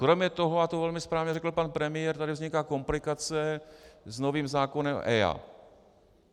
Kromě toho, a to velmi správně řekl pan premiér, tady vzniká komplikace s novým zákonem EIA.